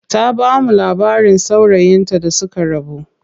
Ta bamu labarin saurayin ta da suka rabu.